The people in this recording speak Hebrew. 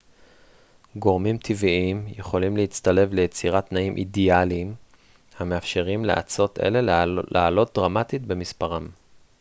גורמים טבעיים יכולים להצטלב ליצירת תנאים אידאליים המאפשרים לאצות אלה לעלות דרמטית במספרן